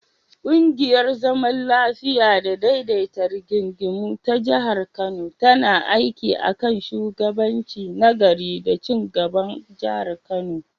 Ƙungiyar zaman lafiya da daidaita rigingimu ta Kano tana aiki a kan shugabanci na gari da ci gaban Jihar Kano.